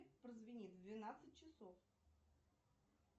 прозвенит в двенадцать часов